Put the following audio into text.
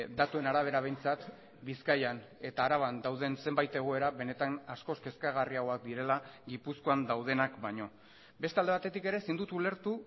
datuen arabera behintzat bizkaian eta araban dauden zenbait egoera benetan askoz kezkagarriagoak direla gipuzkoan daudenak baino beste alde batetik ere ezin dut ulertu